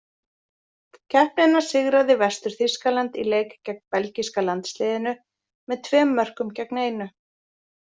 Keppnina sigraði Vestur-Þýskaland í leik gegn Belgíska landsliðinu með tvem mörgkum gegn einu.